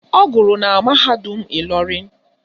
Ọ gụrụ na mahadum Ịlọrịn